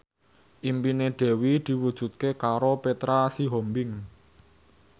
impine Dewi diwujudke karo Petra Sihombing